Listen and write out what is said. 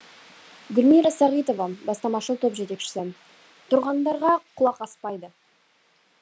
гүлмира сағитова бастамашыл топ жетекшісі тұрғындарға құлақ аспайды